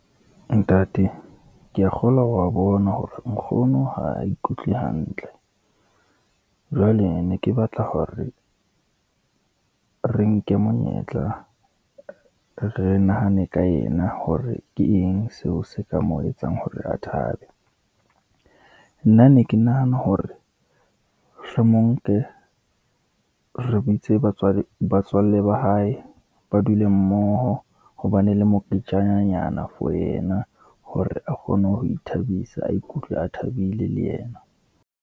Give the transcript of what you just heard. Ntate, ke ya kgolwa wa bona hore nkgono ha a ikutlwe hantle, jwale ne ke batla hore re nke monyetla re nahane ka yena, hore ke eng seo se ka mo etsang hore a thabe. Nna ne ke nahana hore mohlomong re bitse batswalle ba hae, ba dule mmoho hobane le moketjananyana for yena hore a kgone ho ithabisa, a ikutlwe a thabile le yena.